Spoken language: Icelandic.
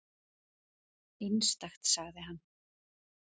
Einstakt, sagði hann.